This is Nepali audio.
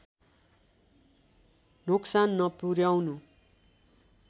नोक्सान नपुर्‍याउनु